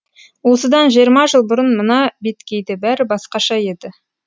осыдан жиырма жыл бұрын мына беткейде бәрі басқаша еді